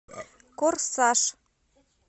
корсаж